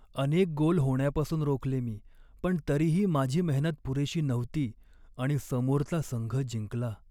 अनेक गोल होण्यापासून रोखले मी, पण तरीही माझी मेहनत पुरेशी नव्हती आणि समोरचा संघ जिंकला.